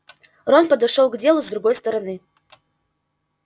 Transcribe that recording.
рон подошёл к делу с другой стороны